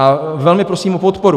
A velmi prosím o podporu.